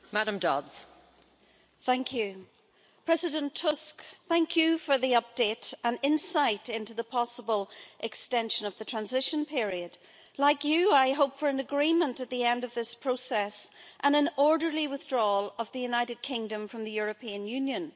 Madam President, I want to thank President Tusk for the update and insight into the possible extension of the transition period. Like you, I hope for an agreement at the end of this process and an orderly withdrawal of the United Kingdom from the European Union.